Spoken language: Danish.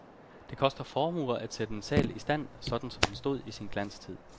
Det koster formuer at sætte en sal i stand, sådan som den stod i sin glanstid.